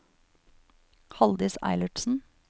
Halldis Eilertsen